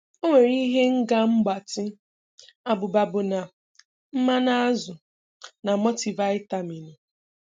Ọ nwere ihe Nga mgbatị, abụba bọna, mmanụ azụ, na mọtịvịtaminu.